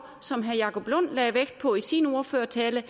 som herre jacob lund lagde vægt på i sin ordførertale